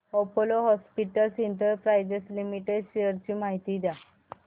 Apollo Hospitals Enterprise Limited shares ची माहिती द्या